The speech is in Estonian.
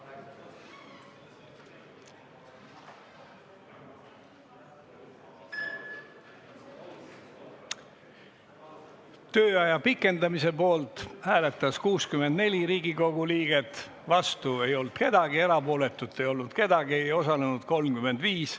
Hääletustulemused Tööaja pikendamise poolt hääletas 64 Riigikogu liiget, vastu ei olnud keegi, erapooletuid ei olnud, ei osalenud 35.